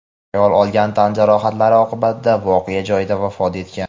Ayol olgan tan jarohatlari oqibatida voqea joyida vafot etgan.